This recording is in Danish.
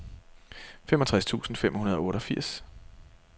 femogtres tusind fem hundrede og otteogfirs